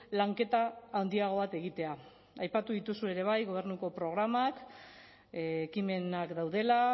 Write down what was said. lanketa handiago bat egitea aipatu dituzu ere bai gobernuko programak ekimenak daudela